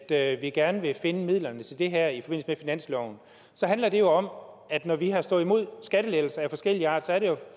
at vi gerne vil finde midlerne til det her i finansloven handler det jo om at når vi har stået imod skattelettelser af forskellig art er det